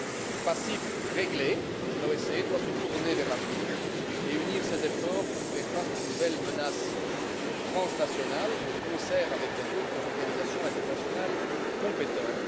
Le passif réglé, l'OSCE doit se tourner vers l'avenir et unir ses efforts pour faire face aux nouvelles menaces transnationales, de concert avec les autres organisations internationales compétentes.